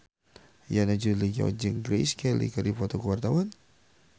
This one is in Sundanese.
Yana Julio jeung Grace Kelly keur dipoto ku wartawan